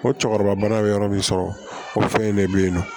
Ko cɛkɔrɔba ye yɔrɔ min sɔrɔ o fɛn in de bɛ ye nɔ